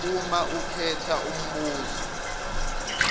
uma ukhetha umbuzo